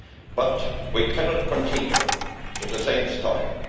But we cannot continue in the same style.